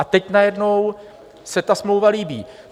A teď najednou se ta smlouva líbí.